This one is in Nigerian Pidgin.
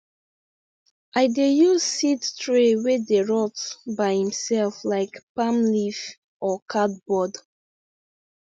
i dey use seed tray wey dey rot by itself like palm leaf or cardboard